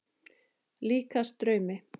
Líkast draumi.